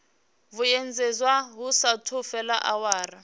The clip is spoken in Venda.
vhuyedzedzwa hu saathu fhela awara